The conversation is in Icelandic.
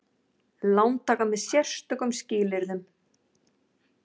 Lántaka með sérstökum skilyrðum.